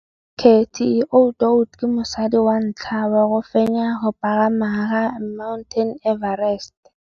Cathy Odowd ke mosadi wa ntlha wa go fenya go pagama ga Mt Everest.